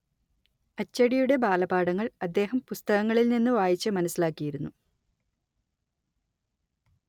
അച്ചടിയുടെ ബാലപാഠങ്ങൾ അദ്ദേഹം പുസ്തകങ്ങളിൽ നിന്ന് വായിച്ച്‌ മനസ്സിലാക്കിയിരുന്നു